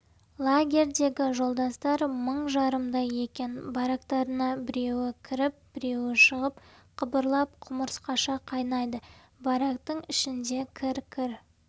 лагерьдегі жолдастар мың жарымдай екен барактарына біреуі кіріп біреуі шығып қыбырлап құмырсқаша қайнайды барактың ішінде кір-кір